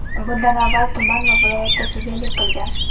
Bundan avval tuman va viloyatda sudyalik qilgan.